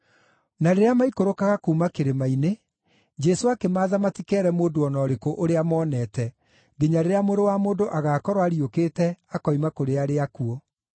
Na rĩrĩa maikũrũkaga kuuma kĩrĩma-inĩ, Jesũ akĩmaatha matikeere mũndũ o na ũrĩkũ ũrĩa monete, nginya rĩrĩa Mũrũ wa Mũndũ agaakorwo ariũkĩte akoima kũrĩ arĩa akuũ.